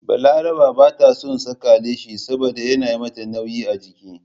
Balaraba ba ta son saka leshi saboda yana yi mata nauyi a jiki.